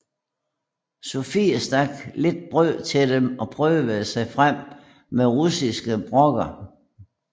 Sophie stak lidt brød til dem og prøvede sig frem med russiske brokker